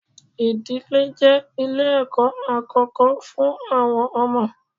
Ìdílé je ilẹ̀ ẹ̀kọ́ àkókó fún àwọn ọmọ.